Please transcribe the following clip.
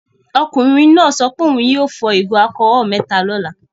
Ọkùnrin náà sọ pé òun yóò fọ ìgò alcholol mẹ́ta lọ́la.